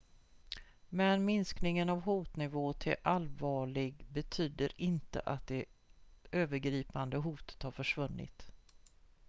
"""men minskningen av hotnivån till allvarlig betyder inte att det övergripande hotet har försvunnit"".